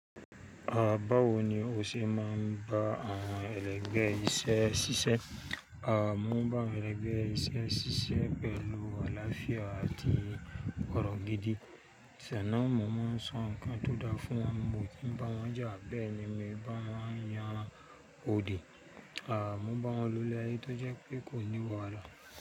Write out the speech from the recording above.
Báwo ni o ṣe maa bá àwọn ẹlẹ́gbẹ́ iṣẹ́ ṣiṣẹ́. À mo ń bá àwọn ẹlẹ́gbẹ́ iṣẹ́ ṣiṣẹ́ pẹ̀lú àlàáfíà àti ọ̀rọ̀ gidi. Bẹ̀ náà mo máa ń sọ ǹkan tó da fún wọn, mo kì í bá wọn jà, bẹ́ẹ̀ ni mi bá wọn yan òdi. À mo bá wọn lọ ilé ayé tó jẹ́ pé kò ní wàhálà.